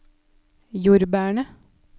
jordbærene